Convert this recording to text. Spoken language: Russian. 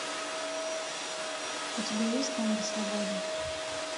у тебя есть танго свободы